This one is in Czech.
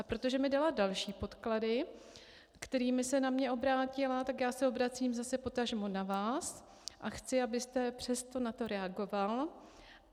A protože mi dala další podklady, kterými se na mě obrátila, tak já se obracím zase potažmo na vás a chci, abyste přesto na to reagoval.